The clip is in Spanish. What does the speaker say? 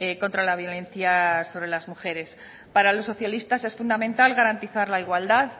contra la violencia sobre las mujeres para los socialistas es fundamental garantizar la igualdad